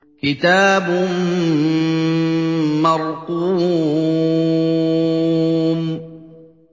كِتَابٌ مَّرْقُومٌ